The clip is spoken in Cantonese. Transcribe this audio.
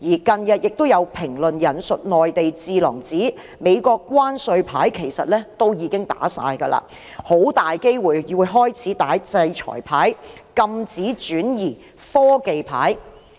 近日亦有評論引述內地智囊指美國的關稅牌其實已打盡，很大機會開始打制裁牌和禁止轉移科技牌。